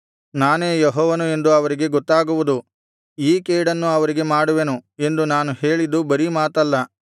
ನಾನೇ ಯೆಹೋವನು ಎಂದು ಅವರಿಗೆ ಗೊತ್ತಾಗುವುದು ಈ ಕೇಡನ್ನು ಅವರಿಗೆ ಮಾಡುವೆನು ಎಂದು ನಾನು ಹೇಳಿದ್ದು ಬರೀ ಮಾತಲ್ಲ